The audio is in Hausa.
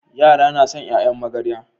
Yara na San yayan magarya